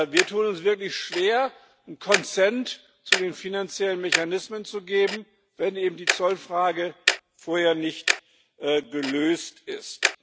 Wir tun uns wirklich schwer, ein zu den finanziellen Mechanismen zu geben, wenn die Zollfrage vorher nicht gelöst ist.